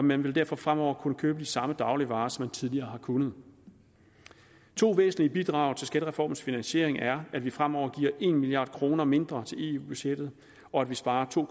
man vil derfor fremover kunne købe de samme dagligvarer som man tidligere har kunnet to væsentlige bidrag til skattereformens finansiering er at vi fremover giver en milliard kroner mindre til eu budgettet og at vi sparer to